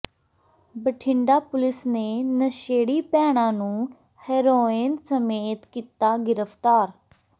Bathinda police ਨੇ ਨਸ਼ੇੜੀ ਭੈਣਾਂ ਨੂੰ ਹੈਰੋਇਨ ਸਮੇਤ ਕੀਤਾ ਗ੍ਰਿਫਤਾਰ